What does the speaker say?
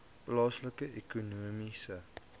plaaslike ekonomiese